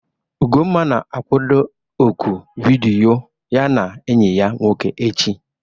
Ugonma na-akwado ọ́kụ̀ vidiyo ya na enyi ya nwoke echi.